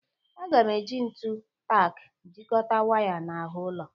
A ga m eji ntu tak jikọta waya n'ahụ ụlọ.